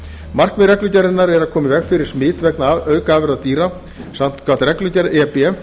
markmið reglugerðarinnar er að koma í veg fyrir smit vegna aukaafurða dýra samkvæmt reglugerð e b